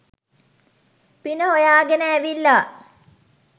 පින හොයාගෙන ඇවිල්ලා